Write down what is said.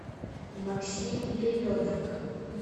максим левенок